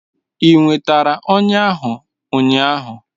Ị nwetara ọnya ahụ ụnyaahụ?